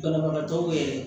Banabagatɔw yɛrɛ